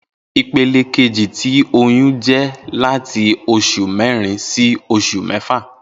Ipele keji ti oyun jẹ lati oṣu mẹrin si oṣu mẹfa